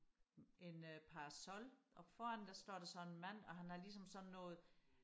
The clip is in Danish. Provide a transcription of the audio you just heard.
en øh parasol og foran der står der så en mand og han har ligesom sådan noget